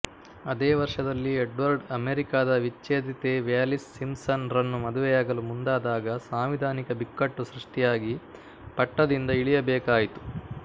ಅದೇ ವರ್ಷದಲ್ಲಿ ಎಡ್ವರ್ಡ್ ಅಮೇರಿಕಾದ ವಿಚ್ಛೇದಿತೆ ವ್ಯಾಲಿಸ್ ಸಿಂಪ್ಸನ್ ರನ್ನು ಮದುವೆಯಾಗಲು ಮುಂದಾದಾಗ ಸಾಂವಿಧಾನಿಕ ಬಿಕ್ಕಟ್ಟು ಸೃಷ್ಟಿಯಾಗಿ ಪಟ್ಟದಿಂದ ಇಳಿಯಬೇಕಾಯಿತು